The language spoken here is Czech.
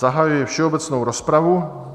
Zahajuji všeobecnou rozpravu.